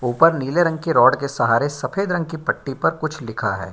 ऊपर नीले रंग के रड के सहारे सफेद रंग की पट्टी पर कुछ लिखा है।